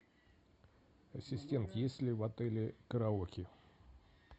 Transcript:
ассистент есть ли в отеле караоке